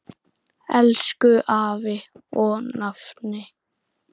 Elsku afi og nafni.